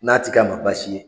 N'a tig'a ma basi ye.